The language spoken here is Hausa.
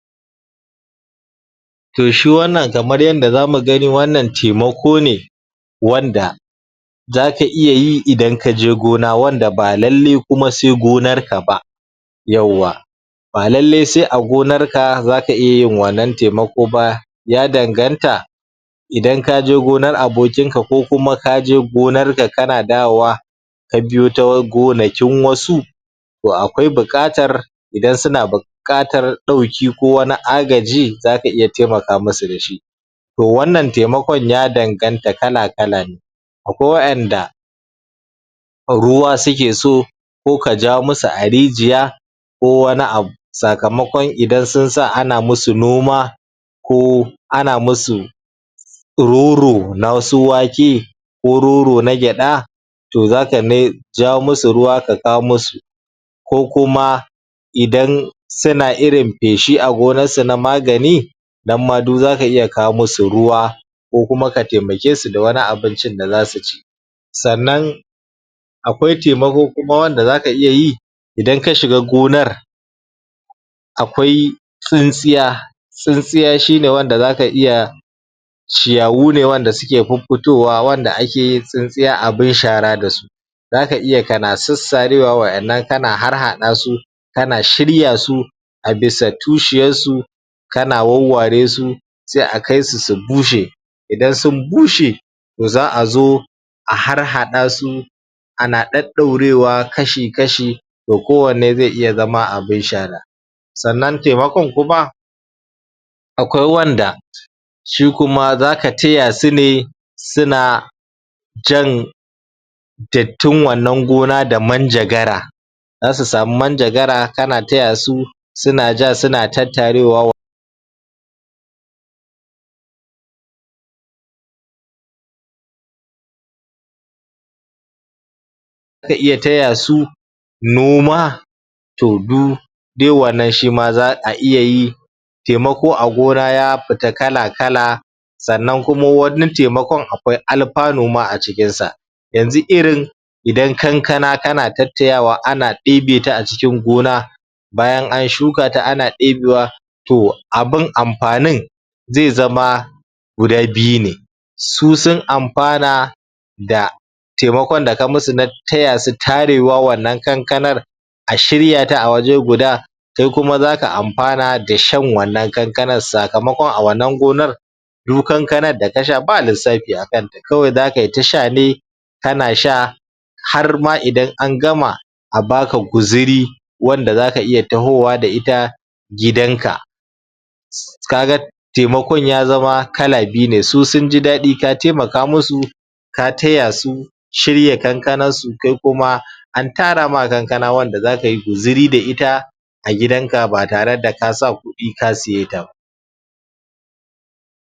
to shi wannan kamar yanda zamu gani wannan taimako ne wanda zaka iya yi idan kaje gona wanda ba lallai kuma sai gonar ka ba yauwa ba lallai sai a gonar ka zaka iya yin wannan taimako ba ya danganta idan kaje gonar abokin ka ko kuma kaje gonar ka kana dawowa ka biyo ta gonakin wasu to akwai buƙatar idan suna buk buƙatar ɗauki ko wani agaji zaka iya taimaka musu dashi to wannan taimakon ya danganta kala kala ne akwai wa'inda ruwa suke so ko ka ja musu a rijiya ko wani abu sakamakon idan sun sa ana musu noma ko ana musu roro na su wake ko roro na gyaɗa to zaka me ja musu ruwa ka kawo musu ko kuma idan suna irin peshi a gonarsu na magani nan ma du zaka iya kawo musu ruwa ko kuma ka taimake su da wani abincin da zasu ci sannan akwai taimako kuma wanda zaka iya yi idan ka shiga gonar akwai tsintsiya tsintsiya shine wanda zaka iya ciyawu ne wanda suke pupputowa wanda ake yin tsintsiya abin shara dasu zaka iya kana sassarewa wa'innan kana harhaɗa su kana shiryasu a bisa tushiyassu kana wawware su sai a kaisu su bushe idan sun bushe za'a zo a harhaɗa su ana ɗaɗɗaurewa kashi kashi da kowanne zai iya zama abin shara sannan taimakon kuma akwai wanda shi kuma zaka taya su ne suna jan dattin wannan gona da manjagara zasu samu manjagara kana taya su suna ja suna tattarewa ka iya taya su noma to du duk wannan shima za'a iya yi taimako a gona ya pita kala kala sannan wani taimakon akwai alpanu ma a cikinsa yanzu irin idan kankana kana tattayawa ana ɗebe ta a cikin gona bayan an shuka ta ana ɗebewa to abin ampanin zai zama guda biyu ne su sun ampana da taimakon da ka musu na taya su tarewa wannan kankanan a shiryata a waje guda kai kuma zaka ampana da shan wannan kankanan sakamakon a wannan gonar du kankanan da ka sha ba lissapi a kanta kawai zakai ta sha ne kana sha har ma idan an gama a baka guziri wanda zaka iya tahowa da ita gidanka kaga taimakon ya zama kala biyu ne su sunji daɗi ka taimaka musu ka taya su shirya kankanarnsu kai kuma an tara ma kankana wanda zakayi guziri da ita a gidanka ba tare da ka sa kuɗi ka siye ta ba